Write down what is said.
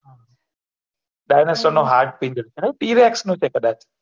dinosour નો heart છે ખબર tir x નું છે કદાચ